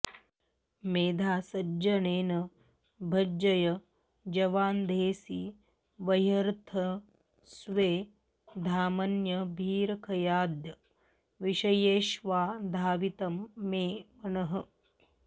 मेधासञ्जननेन भञ्जय जवादेधांसि वह्निर्यथा स्वे धामन्यभिरखयाद्य विषयेष्वाधावितं मे मनः